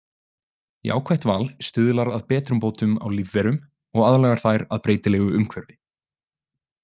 Jákvætt val stuðlar að betrumbótum á lífverum og aðlagar þær að breytilegu umhverfi.